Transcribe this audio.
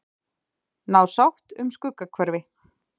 Ná sátt um Skuggahverfi